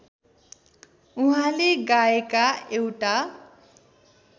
उहाँले गाएका एउटा